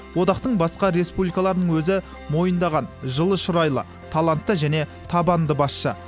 одақтың басқа республикаларының өзі мойындаған жылы шырайлы талантты және табанды басшы